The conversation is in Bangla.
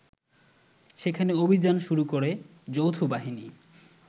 সেখানে অভিযান শুরু করে যৌথবাহিনী